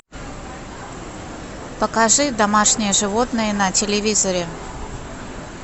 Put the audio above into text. покажи домашние животные на телевизоре